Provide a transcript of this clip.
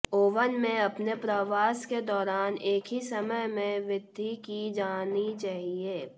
oven में अपने प्रवास के दौरान एक ही समय में वृद्धि की जानी चाहिए